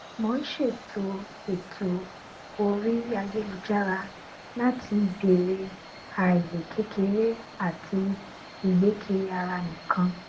mò n tẹlé ètò ètò orí ayélujára láti bèrè ààyè kékeré àti ìgbé kiri ara nìkan